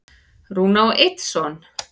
Rúna á einn son.